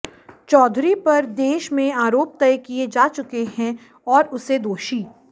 चौधरी पर देश में आरोप तय किए जा चुके हैं और उसे दोषी